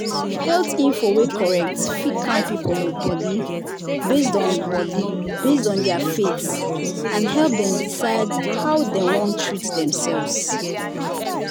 health info wey correct fit calm people body based on body based on their faith and help dem decide how dem wan treat themselves.